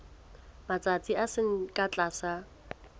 matsatsi a seng ka tlase